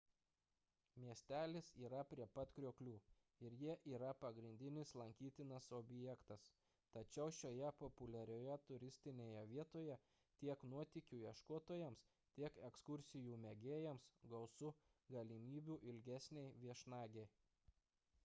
miestelis yra prie pat krioklių ir jie yra pagrindinis lankytinas objektas tačiau šioje populiarioje turistinėje vietoje tiek nuotykių ieškotojams tiek ekskursijų mėgėjams gausu galimybių ilgesnei viešnagei